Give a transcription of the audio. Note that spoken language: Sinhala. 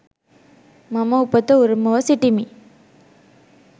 මම උපත උරුමව සිටිමි.